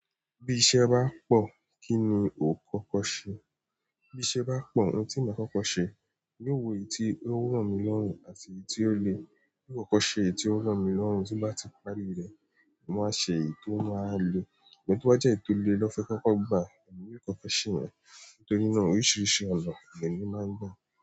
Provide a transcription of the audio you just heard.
Bí iṣẹ́ bá pọ̀, kí ni o kọ́kọ́ ṣe? Bí iṣẹ́ bá pọ̀, ohun tí màá kọ́kọ́ ṣe, mi o wo èyí tí ó rọ mí lọ́rùn àti èyí tí ó le, n kọ́kọ́ ṣe èyí tí ó rọ mí lọ́rùn, tí n bá ti parí rẹ̀, n màá wa ṣe èyí tó máa á le. Ṣùgbọ́n to ba jẹ́ èyí tó le lọ́n fẹ́ kọ́kọ́ gbà, èmi yóò kọ́kọ́ ṣe yẹn. Torí náà oríṣiríṣi ọ̀nà lemi máa ń gbà.